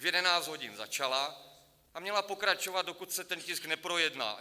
V 11 hodin začala a měla pokračovat, dokud se ten tisk neprojedná.